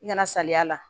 I kana salaya a la